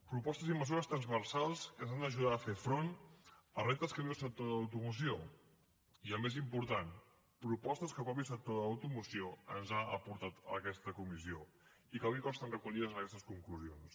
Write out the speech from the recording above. propostes i mesures transversals que ens han d’ajudar a fer front als reptes que viu el sector de l’automoció i el més important propostes que el mateix sector de l’automoció ens ha portat a aquesta comissió i que avui consten recollides en aquestes conclusions